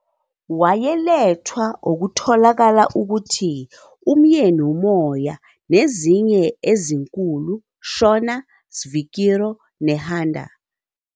Wayelethwa okukholakala ukuthi umyeni umoya nezinye ezinkulu Shona "svikiro," Nehanda.